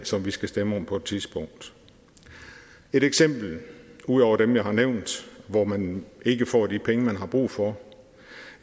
som vi skal stemme om på et tidspunkt et eksempel ud over dem jeg har nævnt hvor man ikke får de penge man har brug for